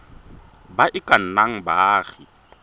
ba e ka nnang baagi